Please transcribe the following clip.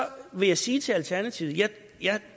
vil jeg sige til alternativet at